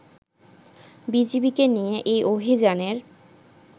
বিজিবিকে নিয়ে এই অভিযানের